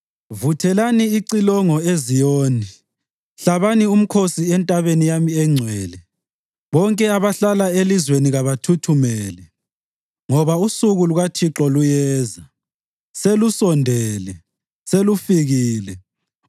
Vuthelani icilongo eZiyoni; hlabani umkhosi entabeni yami engcwele. Bonke abahlala elizweni kabathuthumele, ngoba usuku lukaThixo luyeza. Selusondele, selufikile,